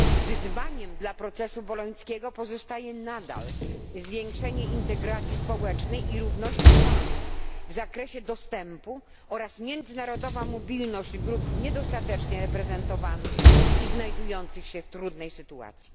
Wyzwaniem dla procesu bolońskiego pozostaje nadal zwiększenie integracji społecznej i równości szans w zakresie dostępu do edukacji oraz międzynarodowa mobilność grup niedostatecznie reprezentowanych i znajdujących się w trudnej sytuacji.